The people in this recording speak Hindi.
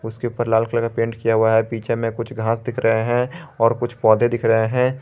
उसके ऊपर लाल कलर का पेंट किया हुआ हैं पीछे में कुछ घास दिख रहे हैं और कुछ पौधे दिख रहे हैं।